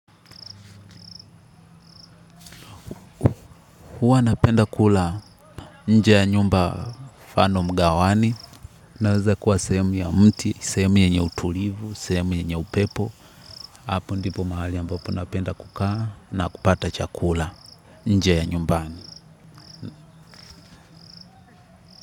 Hua napenda kula nje ya nyumba mfano mgawani. Naweza kuwa sehemu ya mti, sehemu yenye utulivu, sehemu yenye upepo. Hapo ndipo mahali ambapo napenda kukaa na kupata chakula nje ya nyumbani.